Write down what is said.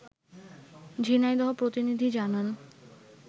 ঝিনাইদহ প্রতিনিধি জানান